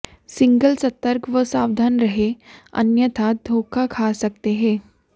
single सतर्क व सावधान रहें अन्यथा धोखा खा सकते हैं